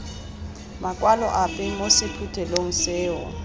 makwalo ape mo sephuthelong seo